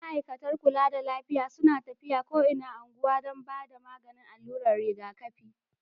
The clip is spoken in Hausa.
Ma'aikatan kulla da lafiya suna tafiya ko inan ungwan dan ba da maganin alurar riga kafi.